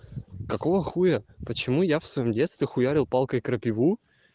какого х почему я в своём детстве хуярил палкой крапиву